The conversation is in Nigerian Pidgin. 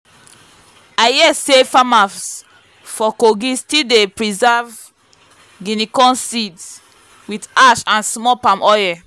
i hear say farmers for kogi still dey preserve guinea corn seeds with ash and small palm oil.